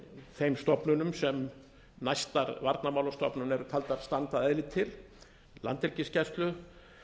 þeim stofnunum sem næstar varnarmálastofnun er taldar standa að eðli til landhelgisgæslu